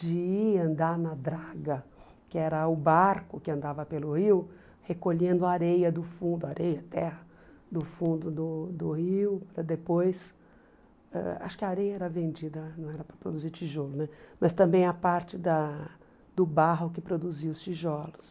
de ir andar na draga, que era o barco que andava pelo rio recolhendo areia do fundo, areia, terra, do fundo do do rio, para depois ãh... Acho que a areia era vendida, não era para produzir tijolo, mas também a parte da do barro que produzia os tijolos.